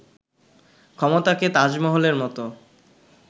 ক্ষমতাকে 'তাজমহল'-এর মতো